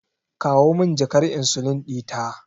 Kawo min jakar insulin ɗita.